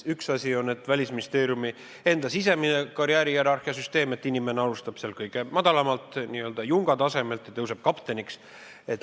Üks asi on Välisministeeriumi enda sisemine karjäärihierarhia süsteem, inimene alustab seal kõige madalamalt, n-ö junga tasemelt ja tõuseb kapteniks.